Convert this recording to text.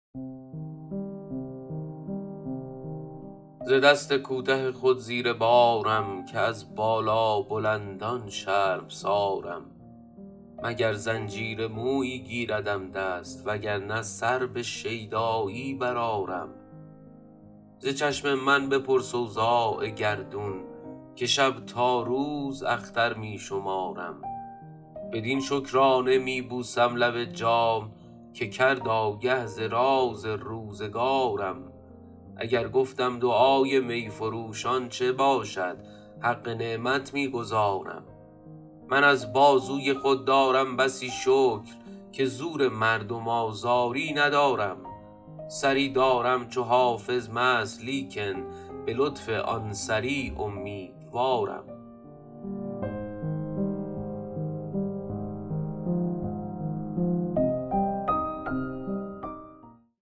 ز دست کوته خود زیر بارم که از بالابلندان شرمسارم مگر زنجیر مویی گیردم دست وگر نه سر به شیدایی برآرم ز چشم من بپرس اوضاع گردون که شب تا روز اختر می شمارم بدین شکرانه می بوسم لب جام که کرد آگه ز راز روزگارم اگر گفتم دعای می فروشان چه باشد حق نعمت می گزارم من از بازوی خود دارم بسی شکر که زور مردم آزاری ندارم سری دارم چو حافظ مست لیکن به لطف آن سری امیدوارم